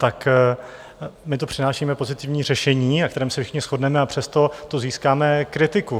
Tak my tu přinášíme pozitivní řešení, na kterém se všichni shodneme, a přesto tu získáme kritiku.